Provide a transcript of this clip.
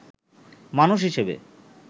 মানুষ হিসেবে